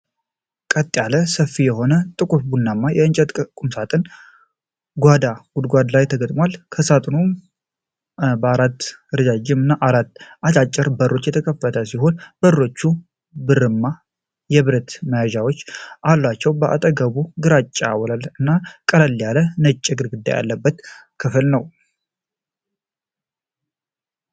ቀጥ ያለና ሰፊ የሆነ ጥቁር ቡናማ የእንጨት ቁምሳጥን ጓዳ ግድግዳ ላይ ተገጥሟል። ቁምሳጥኑ በአራት ረዣዥም እና በአራት አጫጭር በሮች የተከፋፈለ ሲሆን፤ በሮቹ ብርማ የብረት መያዣዎች አሏቸው። በአጠገቡ ግራጫ ወለል እና ቀለል ያለ ነጭ ግድግዳ ያለበት ክፍል ነው።